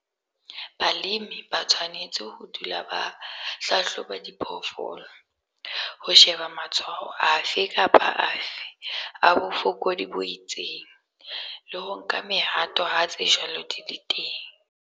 Balemi ba tshwanetse ho dula ba hlahloba diphoofolo, ho sheba matshwao afe kapa afe a bofokodi bo itseng, le ho nka mehato ha tse jwalo di le teng.